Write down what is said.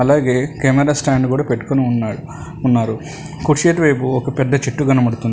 అలాగే camera stand కూడా పెట్టుకుని ఉన్నాడు వున్నారు కుర్చీల వెైపు ఒక పెద్ద చెట్టు కనపడుతుంది.